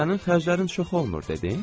Sənin xərclərin çox olmur dedin?